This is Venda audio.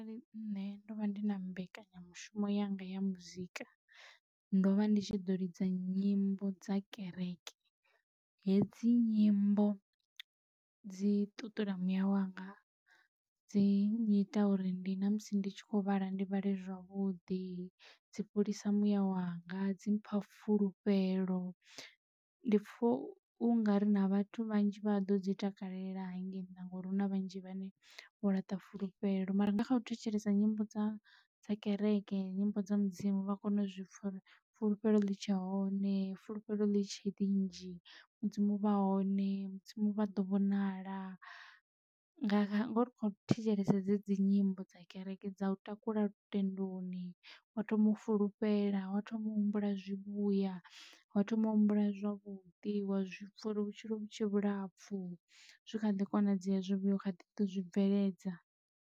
Arali nṋe ndo vha ndi na mbekanyamushumo yanga ya muzika ndo vha ndi tshi ḓo lidza nyimbo dza kereke hedzi nyimbo dzi ṱuṱula muyawanga dzi nnyita uri ndi na musi ndi tshi kho vhala ndi vhale zwavhuḓi dzi fholisa muyawanga dzi mpha fulufhelo ndi pfho unga ri na vhathu vhanzhi vha ḓo dzi takalela hangeini nnḓa ngauri hu na vhanzhi vhane vho laṱa fulufhelo. Mara nga kha u thetshelesa nyimbo dza dza kereke nyimbo dza mudzimu vha kone u zwi fulufhelo litshe hone fulufhelo ḽi tshe ḽi nnzhi mudzimu vha hone mudzimu vha ḓo vhonala nga ngoho ri kho thetshelesa dze dzi nyimbo dza kereke dza u takula lutendoni wa thoma u fulufhela wo thoma humbula zwivhuya ho thoma humbula zwavhuḓi wa zwipfa uri vhutshilo vhutshe vhulapfhu zwi kha ḓi konadzea hezwi vhuyo kha ḓi to zwibveledza.